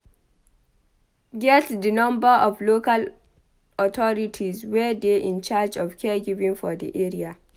get di number of local authorities wey dey in charge of caregiving for di area